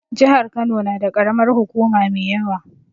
Jihar Kano na da karamar hukuma mai yawa